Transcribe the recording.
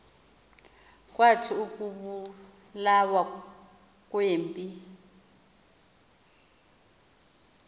kwathi ukubulawa kwempi